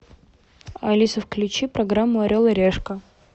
алиса включи программу орел и решка